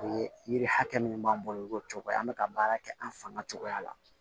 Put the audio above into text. O ye yiri hakɛ minnu b'an bolo u b'o cogoya an bɛ ka baara kɛ an fanga cogoya la